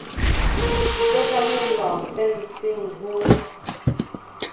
di ka tlamellwa fenseng ho